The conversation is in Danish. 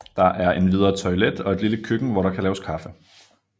Der er endvidere toilet og et lille køkken hvor der kan laves kaffe